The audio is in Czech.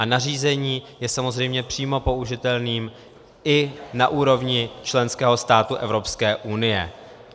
A nařízení je samozřejmě přímo použitelným i na úrovni členského státu Evropské unie.